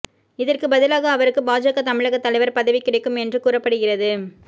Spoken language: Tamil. இதற்கு பதிலாக அவருக்கு பாஜக தமிழக தலைவர் பதவி கிடைக்கும் என்றும் கூறப்படுகிறது